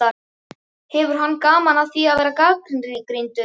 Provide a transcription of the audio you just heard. Hefur hann gaman af því að gera gagnrýndur?